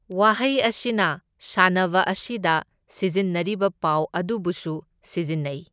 ꯋꯥꯍꯩ ꯑꯁꯤꯅ ꯁꯥꯟꯅꯕ ꯑꯁꯤꯗ ꯁꯤꯖꯤꯟꯅꯔꯤꯕ ꯄꯥꯎ ꯑꯗꯨꯕꯨꯁꯨ ꯁꯤꯖꯤꯟꯅꯩ꯫